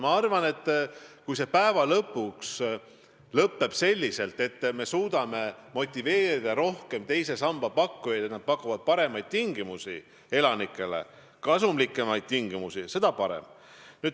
Ma arvan, et kui see viimaks lõpeb selliselt, et me suudame teise samba pakkujaid rohkem motiveerida pakkuma inimestele paremaid, kasumlikumaid tingimusi, siis on väga hea.